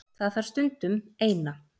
Það þarf stundum. Eina.